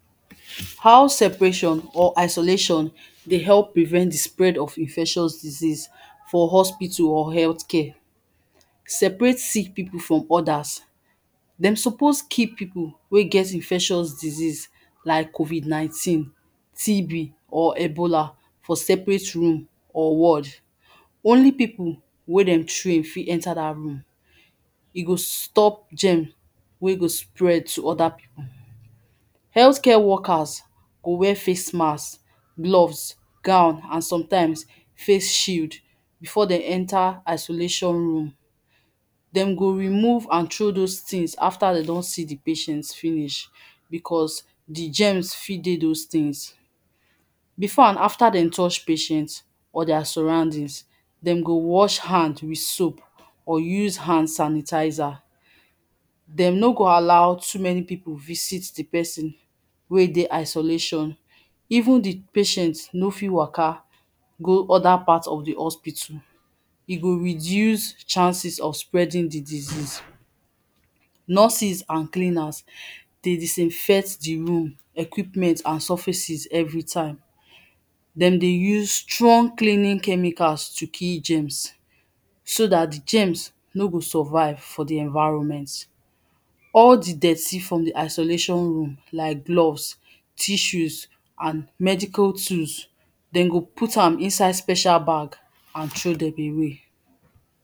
How separation or isolation dey help prevent di spread of infectious disease for hospital or healthcare. Separate sick people from others. Dem suppose keep people wey get infectious disease like Covid-19, TB, or Ebola for seperate room or ward. Only people wey dem train fit enter that room. You go stop germ wey go spread to other people. Healthcare workers go wear face masks, gloves, gown and sometimes face shield before dem enter isolation room. Dem go remove and throw those tins after dem don see di patient finish because di germs fit dey those tins. Before and after dem touch patients or their surroundings, dem go wash hand with soap or use hand sanitizer. Dem no go allow too many people visit di person wey dey isolation. Even di patient no fit w??k?? go other part of di hospital. E go reduce chances of spreading di disease. Nurses and cleaners dey disinfect di room, equipment and surfaces everytime. Dem dey use strong cleaning chemicals to kill germs so that di germs no go survive for di environment. All di dirty from di isolation room like gloves, tissues, and medical tools, dem go put am inside special bag and throw dem away.